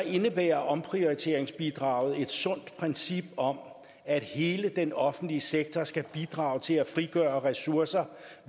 indebærer omprioriteringsbidraget et sundt princip om at hele den offentlige sektor skal bidrage til at frigøre ressourcer